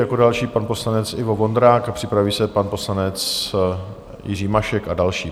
Jako další pan poslanec Ivo Vondrák a připraví se pan poslanec Jiří Mašek a další.